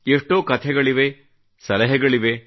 ಎಷ್ಟೋ ಕಥೆಗಳಿವೆ ಸಲಹೆಗಳಿವೆ